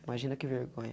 Imagina que vergonha.